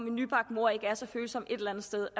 en nybagt mor er så følsom et eller andet sted